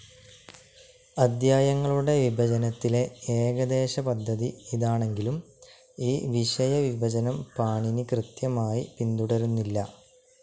അദ്ധ്യായങ്ങളുടെ വിഭജനത്തിലെ ഏകദേശപദ്ധതി ഇതാണെങ്കിലും ഈ വിഷയവിഭജനം പാണിനി കൃത്യമായി പിന്തുടരുന്നില്ല.